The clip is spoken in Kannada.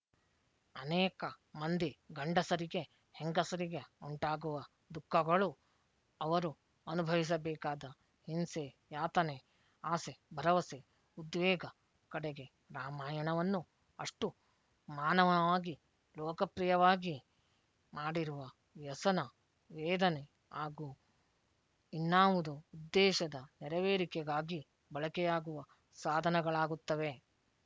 ಅನೇಕ ಮಂದಿ ಗಂಡಸರಿಗೆ ಹೆಂಗಸರಿಗೆ ಉಂಟಾಗುವ ದುಃಖಗಳು ಅವರು ಅನುಭವಿಸಬೇಕಾದ ಹಿಂಸೆ ಯಾತನೆ ಆಸೆ ಭರವಸೆ ಉದ್ವೇಗ ಕಡೆಗೆ ರಾಮಾಯಣವನ್ನು ಅಷ್ಟು ಮಾನವವಾಗಿ ಲೋಕಪ್ರಿಯವಾಗಿ ಮಾಡಿರುವ ವ್ಯಸನ ವೇದನೆ ಆಗೂ ಇನ್ನಾವುದೊ ಉದ್ದೇಶದ ನೆರವೇರಿಕೆಗಾಗಿ ಬಳಕೆಯಾಗುವ ಸಾಧನಗಳಾಗುತ್ತವೆ